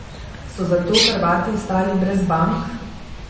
So zato Hrvati ostali brez bank?